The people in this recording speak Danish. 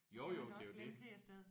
Jo jo det er jo det